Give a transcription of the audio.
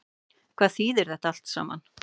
Hvað þýðir þetta allt saman